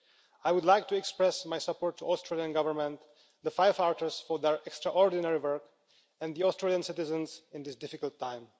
I would like to express my support for the Australian Government, the firefighters for their extraordinary work, and the Australian citizens at this difficult time.